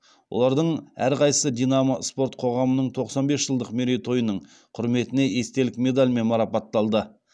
олардың әрқайсысы динамо спорт қоғамының тоқсан бес жылдық мерейтойының құрметіне естелік медальмен марапатталды